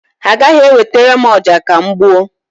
Ha agaghị ewetara m ọja ka m gbuo.